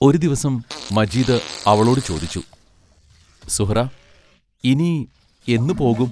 ഒരു ദിവസം മജീദ് അവളോടു ചോദിച്ചു: സുഹ്റാ ഇനി എന്നു പോകും?